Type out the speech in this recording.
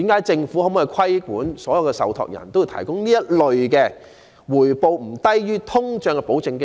政府可否規管所有受託人均須提供這類回報不低於通脹的保證基金？